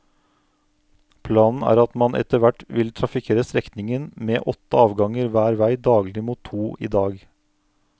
Planen er at man etter hvert vil trafikkere strekningen med åtte avganger hver vei daglig mot to i dag.